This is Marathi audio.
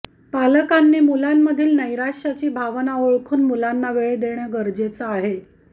पालकांनी मुलांमधली नैराश्याची भावना ओळखून मुलांना वेळ देणे गरजेचे आहे